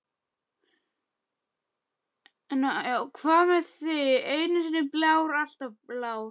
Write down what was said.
Hvað með þig, einu sinni blár, alltaf blár?